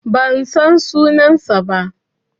Ban san sunansa ba.